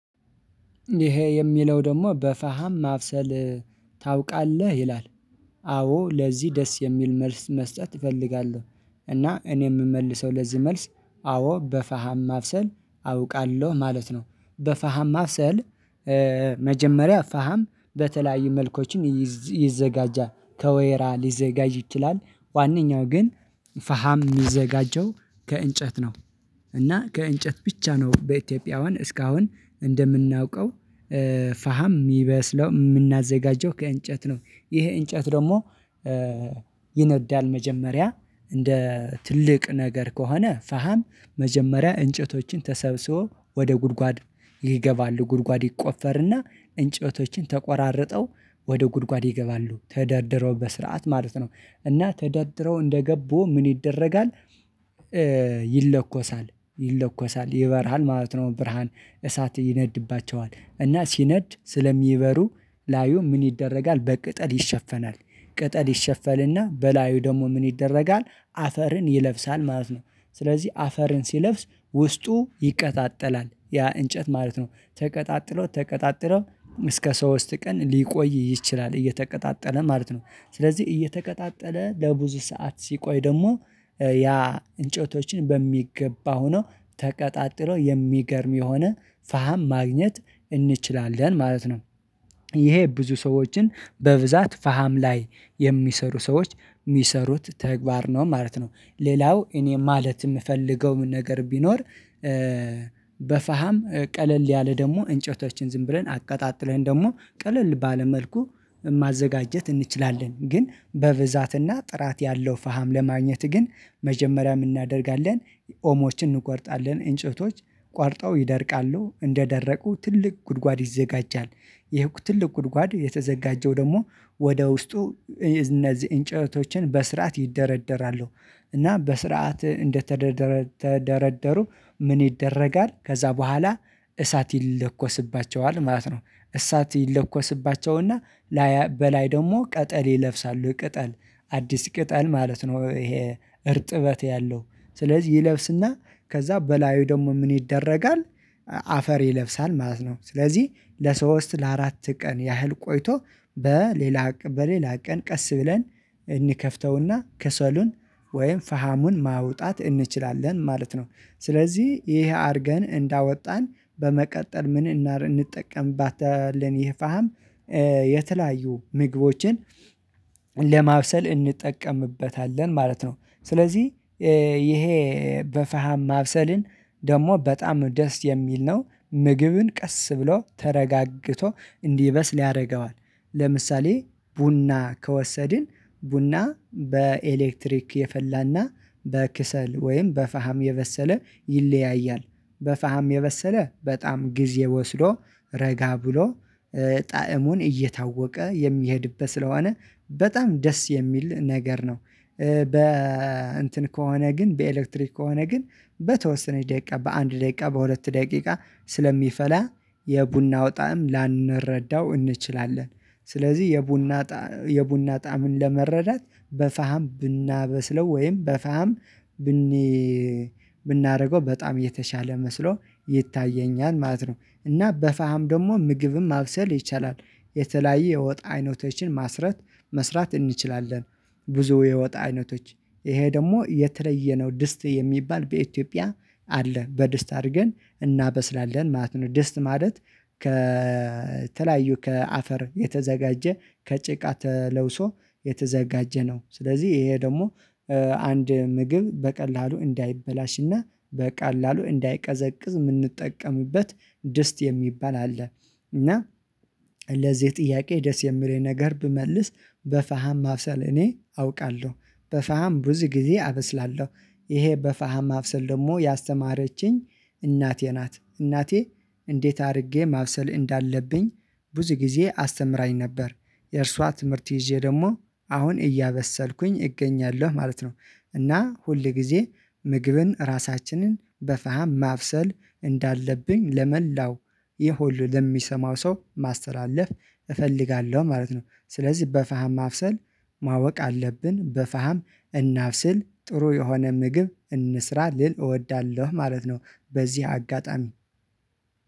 ይሄ የሚለው ደግሞ በፈሃም ማብሰል ታውቃለህ ይላል? አዎ ለዚህ ደስ የሚል መልስ መስጠት እፈልጋለሁ። እና እኔ የምመልሰው ለዚህ መልስ አዎ በፋሃም ማብሰል አውቃለሁ ማለት ነው። በፋሃም ማብሰል። መጀመሪያ ፋሃም በተለያዩ መልኮችን ይዘጋጃል ከወይራ ሊዘጋጅ ይችላል። ዋንኛው ግን ፋሃም የሚዘጋጀው ከእንጨት ነው። እና ከእንጨት ብቻ ነው በኢትዮጵያውያን እስካሁን እንደምናውቀው። ፋሃም የሚበስለው የምናዘጋጀው ከእንጨት ነው። ይሄ እንጨት ደግሞ ይነዳል። መጀመሪያ እንደ ትልቅ ነገር ከሆነ ፈሃም መጀመሪያ እንጨቶችን ተሰብስበው ወደ ጉድጓድ ይገባሉ ጉድጓድ ይቆፈርና እንጨቶችን ተቆራርጠው ወደ ጉድጓድ ይገባሉ ተደርድረው በስርዓት ማለት ነው። እና ተደርድረው እንደገቡ ምን ይደረጋል? ይለኮሳል ይለኮሳል ይበራል ማለት ነው። ብርሃን እሳት ይነድባቸዋል እና ሲነድ ስለሚበሩ ላዩ ምን ይደረጋል? በቅጠል ይሸፈናል። ቅጠል ይሸፈልና በላዩ ደግሞ ምን ይደረጋል? አፈርን ይለብሳል ማለት ነው። ስለዚህ አፈርን ሲለብስ ውስጡ ይቀጣጠላል ያ እንጨት ማለት ነው ተቀጣጥሎ ተቀጣጥሎ እስከ ሶስት ቀን ሊቆይ ይችላል እየተቀጣጠለ ማለት ነው። ስለዚህ እየተቀጣጠለ ለብዙ ሰዓት ሲቆይ ደግሞ ያ እንጨቶችን በሚገባ ሆኖ ተቀጣጥሎ የሚገርም የሆነ ፋሃም ማግኘት እንችላለን ማለት ነው። ይሄ ብዙ ሰዎችን በብዛት ፈሃም ላይ የሚሰሩ ሰዎች የሚሰሩት ተግባር ነው ማለት ነው። ሌላው እኔ ማለት የምፈልገው ነገር ቢኖር። በፋሃም ቀለል ያለ ደግሞ እንጨቶችን ዝም ብለን አቀጣጥለን ደግሞ ቀለል ባለ መልኩ ማዘጋጀት እንችላለን ግን በብዛትና ጥራት ያለው ፈሃም ለማግኘት ግን መጀመሪያ ምን እናደርጋለን? ኦሞችን እንቆርጣለን እንጨቶች ቆርጠው ይደርቃሉ እንደደረቁ ትልቅ ጉድጓድ ይዘጋጃል። ይህ ትልቅ ጉድጓድ የተዘጋጀው ደግሞ ወደ ውስጡ እነዚህ እንጨቶችን በስርዓት ይደረደራሉ። እና በስርዓት እንደተደረደሩ ምን ይደረጋል? ከዛ በኋላ እሳት ይለኮስባቸዋል ማለት ነው። እሳት ይለኮስባቸውና በላይ ደግሞ ቅጠል ይለብሳሉ ቅጠል አዲስ ቅጠል ማለት ነው ይሄ እርጥበት ያለው ስለዚህ ይለብስና ከዛ በላዩ ደግሞ ምን ይደረጋል? አፈር ይለብሳል ማለት ነው። ስለዚህ ለሶስት ለአራት ቀን ያህል ቆይቶ በሌላ በሌላ ቀን ቀስ ብለን እንከፍተውና ከሰሉን ወይም ፈሃሙን ማውጣት እንችላለን ማለት ነው። ስለዚህ ይሄ አድርገን እንዳወጣን በመቀጠል ምን እንጠቀምባታለን? ይህ ፋሃም የተለያዩ ምግቦችን ለማብሰል እንጠቀምበታለን ማለት ነው። ስለዚህ ይሄ በፈሃም ማብሰልን ደግሞ በጣም ደስ የሚል ነው። ምግብን ቀስ ብሎ ተረጋግቶ እንዲበስል ያደርገዋል። ለምሳሌ ቡና ከወሰድን ቡና በኤሌክትሪክ የፈላና በክሰል ወይም በፈሃም የበሰለ ይለያያል። በፈሃም የበሰለ በጣም ጊዜ ወስዶ ረጋ ብሎ ጣዕሙን እየታወቀ የሚሄድበት ስለሆነ በጣም ደስ የሚል ነገር ነው። በ እንትን ከሆነ ግን በኤሌክትሪክ ከሆነ ግን በተወሰነች ደቂቃ በአንድ ደቂቃ በሁለት ደቂቃ ስለሚፈላ የቡናው ጣዕም ላንረዳው እንችላለን። ስለዚህ የቡና የቡና ጣዕምን ለመረዳት በፋሃም ብናበስለው ወይም በፋሃም ብን ብናደርገው በጣም የተሻለ መስሎ ይታየኛል ማለት ነው። እና በፋም ደግሞ ምግብም ማብሰል ይቻላል። የተለያየ የወጥ አይነቶችን መስራት እንችላለን። ብዙ የወጥ አይነቶች ይሄ ደግሞ የተለየ ነው ድስት የሚባል በኢትዮጵያ አለ በድስት አድርገን እናበስላለን ማለት ነው። ድስት ማለት ከተለያዩ ከአፈር የተዘጋጀ ከጭቃ ተለውሶ የተዘጋጀ ነው። ስለዚህ ይሄ ደግሞ አንድ ምግብ በቀላሉ እንዳይበላሽና በቀላሉ እንዳይቀዘቅዝ የምንጠቀምበት ደስት የሚባል አለ። እና ለዚህ ጥያቄ ደስ የሚለኝ ነገር ብመልስ በፈሃም ማብሰል እኔ አውቃለሁ። በፈሃም ብዙ ጊዜ አበስላለሁ ይሄ በፋሃም ማብሰል ደግሞ ያስተማረችኝ እናቴ ናት። እናቴ እንዴት አድርጌ ማብሰል እንዳለብኝ ብዙ ጊዜ አስተምራኝ ነበር። የእርሷ ትምህርት ይዤ ደግሞ አሁን እያበሰልኩኝ እገኛለሁ ማለት ነው። እና ሁል ጊዜ ምግብን ራሳችንን በፈሃም ማብሰል እንዳለብኝ ለመላው ይህ ሁሉ ለሚሰማው ሰው ማስተላለፍ እፈልጋለሁ ማለት ነው። ስለዚህ በፈሃም ማብሰል ማወቅ አለብን በፈሃም እናብስል ጥሩ የሆነ ምግብ እንስራ ልል እወዳለሁ ማለት ነው። በዚህ አጋጣሚ